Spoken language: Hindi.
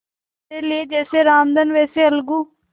मेरे लिए जैसे रामधन वैसे अलगू